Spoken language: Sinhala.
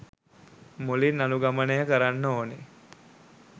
මුලින් අනුගමනය කරන්න ඕන.